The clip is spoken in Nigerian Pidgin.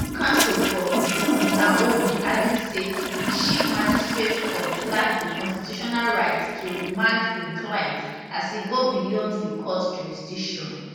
counsel for um queen naomi argue say di chief magistrate court lack di constitutional right to remand im client as e go beyond di court jurisdiction